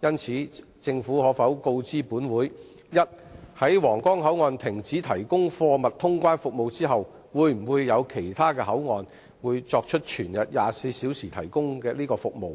就此，政府可否告知本會：一在皇崗口岸停止提供貨物通關服務後，會否有其他口岸全日24小時提供該服務；